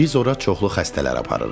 Biz ora çoxlu xəstələr aparırıq.